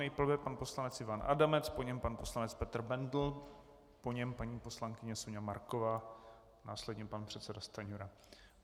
Nejprve pan poslanec Ivan Adamec, po něm pan poslanec Petr Bendl, po něm paní poslankyně Soňa Marková, následně pan předseda Stanjura.